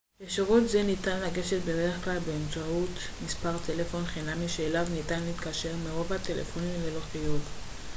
לשירות זה ניתן לגשת בדרך-כלל באמצעות מספר טלפון חינמי שאליו ניתן להתקשר מרוב הטלפונים ללא חיוב